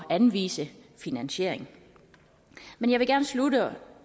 at anvise finansiering men jeg vil gerne slutte